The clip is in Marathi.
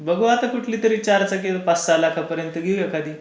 बघू आता कुठली तरी चार चाकी पाच सहा लाखापर्यंत घेऊ एखादी.